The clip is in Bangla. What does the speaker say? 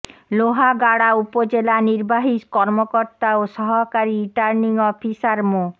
লোহাগাড়া উপজেলা নির্বাহী কর্মকর্তা ও সহকারী রিটার্নিং অফিসার মো